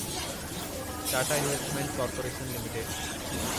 Tata investment corporation limited